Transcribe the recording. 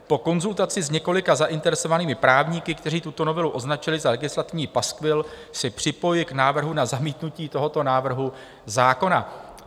Po konzultaci s několika zainteresovanými právníky, kteří tuto novelu označili za legislativní paskvil, se připojuji k návrhu na zamítnutí tohoto návrhu zákona."